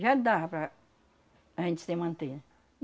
Já dava para a gente se manter.